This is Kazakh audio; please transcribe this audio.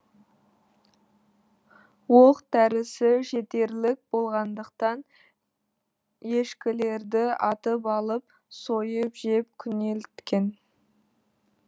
оқ дәрісі жетерлік болғандықтан ешкілерді атып алып сойып жеп күнелткен